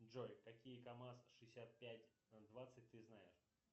джой какие камаз шестьдесят пять двадцать ты знаешь